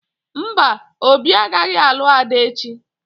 Mba, Obi agaghị alụ Ada echi